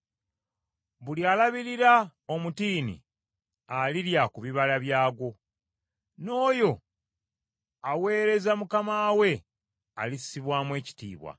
Buli alabirira omutiini alirya ku bibala byagwo, n’oyo aweereza mukama we alissibwamu ekitiibwa.